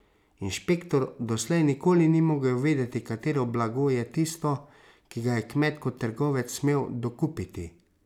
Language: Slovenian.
Inšpektor doslej nikoli ni mogel vedeti, katero blago je tisto, ki ga je kmet kot trgovec smel dokupiti.